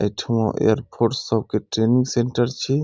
एठमा air force सब के training centre छी।